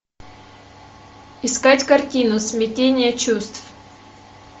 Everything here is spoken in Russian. искать картину смятение чувств